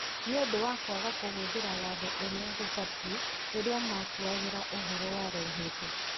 nĩũndũ wa kwaga kũhũthira watho ũria gũbatie rĩrĩa matuagĩra ũhoro warehetwo.